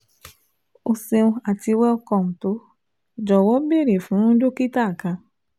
O ṣeun ati Welcome to "Jọwọ beere fun Dokita kan